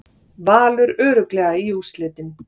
Valur örugglega í úrslitin